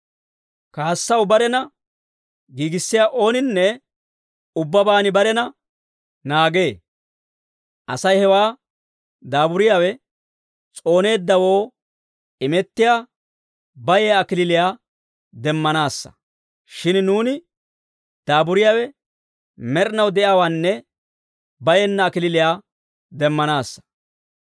Kaassaw barena giigissiyaa ooninne ubbabaan barena naagee. Asay hewaa daaburiyaawe s'ooneeddawoo imettiyaa bayiyaa kalachchaa demmanaassa. Shin nuuni daaburiyaawe med'inaw de'iyaawaanne bayenna kalachchaa demmanaassa.